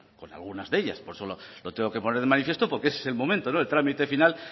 con algunas de ellas lo tengo que poner de manifiesto porque es el momento el trámite final